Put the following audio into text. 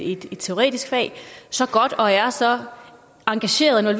et teoretisk fag så godt og er så engagerede og